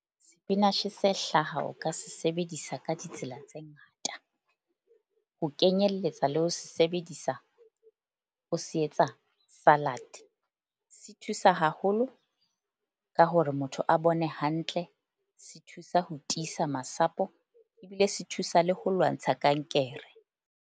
Sepinashe se hlaha o ka se sebedisa ka ditsela tse ngata ho kenyelletsa le ho se sebedisa o se etsa salad-e. Se thusa haholo ka hore motho a bone hantle. Se thusa ho tiisa masapo ebile se thusa le ho lwantsha kankere.